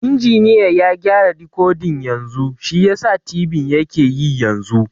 Injiniya ya gyara dikodin yanzu shiyasa tibin yake yi yanzu